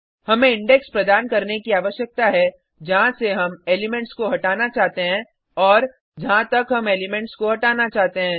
हमें इंडेक्स प्रदान करने की आवश्यकता है जहाँ से हम एलिमेंट्स को हटाना चाहते हैं और जहाँ तक हम एलिमेंट्स को हटाना चाहते हैं